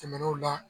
Tɛmɛnenw na